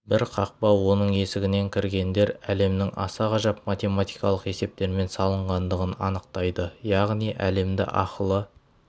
бір қақпа оның есігінен кіргендер әлемнің аса ғажап математикалық есептермен салынғандығын анықтайды яғни әлемді ақылы